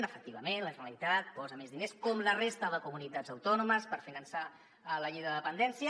efectivament la generalitat posa més diners com la resta de comunitats autònomes per finançar la llei de de·pendència